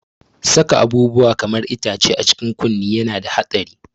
Saka abubuwa kaman itace a cikin kunne yana da haɗari.